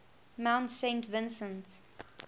mount saint vincent